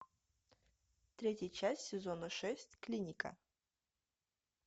третья часть сезона шесть клиника